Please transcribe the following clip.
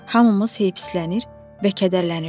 Hamımız heyfislənir və kədərlənirdik.